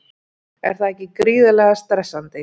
Er það ekki gríðarlega stressandi?